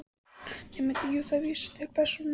Nemandi: Jú, það vísar til persóna